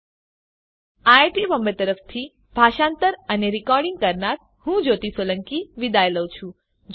iit Bombay તરફથી spoken tutorial project માટે ભાષાંતર કરનાર હું જ્યોતી સોલંકી વિદાય લઉં છું